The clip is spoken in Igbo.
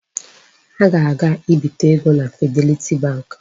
Ha ga-aga ibite ego na Fidelity bank.